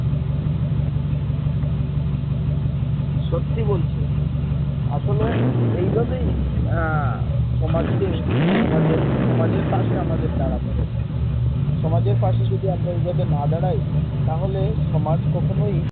সত্যি বলছো আসলে এই ভাবেই সমাজকে আমাদের সমাজের পাশে আমাদের দাঁড়াতে হবে সমাজের পাশে যদি আমরা এই ভাবে না দাঁড়াই তাহলে সমাজ কখনই